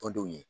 Tɔndenw ye